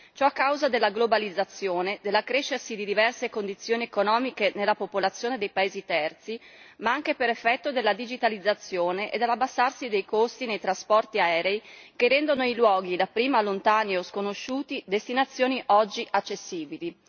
Ciò a causa della globalizzazione, dell'accrescersi di diverse condizioni economiche nella popolazione dei paesi terzi, ma anche per effetto della digitalizzazione e dall'abbassarsi dei costi dei trasporti aerei, che rendono i luoghi dapprima lontani o sconosciuti destinazioni oggi accessibili.